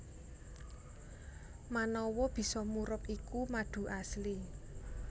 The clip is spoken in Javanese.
Manawa bisa murub iku madu asli